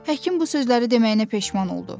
Həkim bu sözləri deməyinə peşman oldu.